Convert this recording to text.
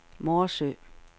Morsø